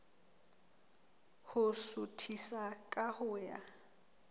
ho suthisa ka ho ya